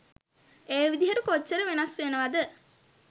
ඒ විදිහට කොච්චර වෙනස් වෙනවද?